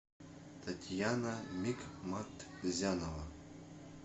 татьяна микматзянова